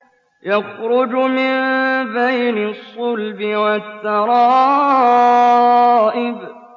يَخْرُجُ مِن بَيْنِ الصُّلْبِ وَالتَّرَائِبِ